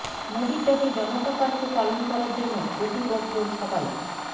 মোদীর ডাকে জনতা কার্ফু পালন করার জন্য প্রতিবদ্ধ সবাই